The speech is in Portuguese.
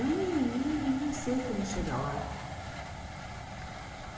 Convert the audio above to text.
Eu nem nem nem sei como chegar lá.